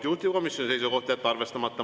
Juhtivkomisjoni seisukoht on jätta arvestamata.